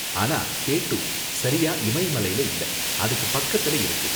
ஆனா K two சரியா இமய மலைல இல்ல, அதுக்கு பக்கத்துல இருக்கு.